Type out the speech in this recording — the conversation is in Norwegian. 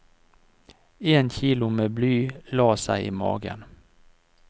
En kilo med bly la seg i magen.